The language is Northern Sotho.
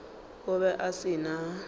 o be a se na